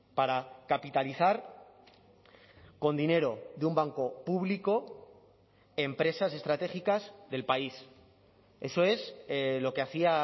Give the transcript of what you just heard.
para capitalizar con dinero de un banco público empresas estratégicas del país eso es lo que hacía